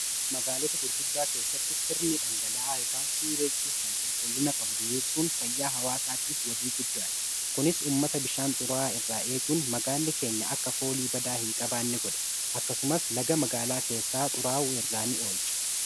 Magaalota gurguddaa keessatti sirni dhangala'aa qulqullina qabu diriirsuun fayyaa hawaasaatiif wabii guddaa kennu dha.